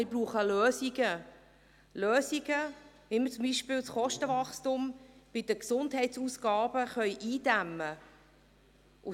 Wir brauchen Lösungen – Lösungen, die beispielsweise das Kostenwachstum bei den Gesundheitsausgaben eindämmen können.